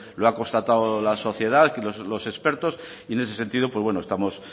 lo ha constatado la sociedad y los expertos y en este sentido pues estamos